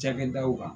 Cakɛdaw kan